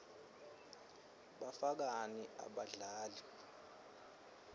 bafakani abadlali